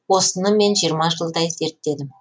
осыны мен жиырма жылдай зерттедім